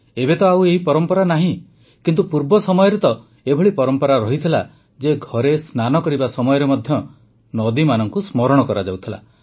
ଏବେ ତ ଆଉ ଏହି ପରମ୍ପରା ନାହିଁ କିନ୍ତୁ ପୂର୍ବ ସମୟରେ ତ ଏଭଳି ପରମ୍ପରା ରହିଥିଲା ଯେ ଘରେ ସ୍ନାନ କରିବା ସମୟରେ ମଧ୍ୟ ନଦୀମାନଙ୍କୁ ସ୍ମରଣ କରାଯାଉଥିଲା